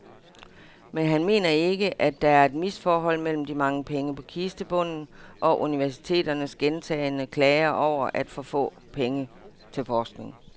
Men han mener ikke, at der er et misforhold mellem de mange penge på kistebunden og universiteternes gentagne klager over for få penge til forskning.